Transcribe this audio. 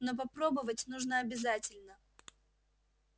но попробовать нужно обязательно